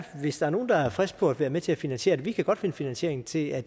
hvis der er nogen der er friske på at være med til at finansiere det vi kan godt finde finansiering til at